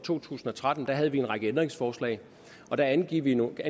to tusind og tretten havde vi en række ændringsforslag og der angav vi nogle